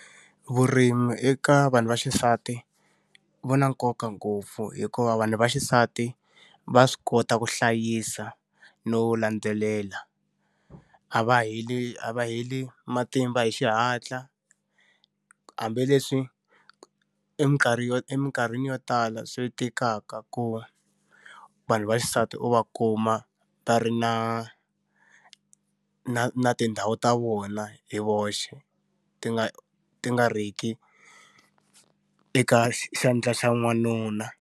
Vurimi eka vanhu va xisati wu na nkoka ngopfu hikuva vanhu va xisati va swi kota ku hlayisa no landzelela, a va heli a va heli matimba hi xihatla. Hambileswi yo eminkarhini yo tala swi tikaka ku vanhu va xisati u va kuma va ri na na na tindhawu ta vona hi voxe, ti nga ti nga ri ki eka xandla xa n'wanuna.